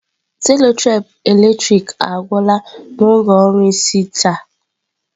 Selotape eletrik agwụla n'oge ọrụ n'isi taa.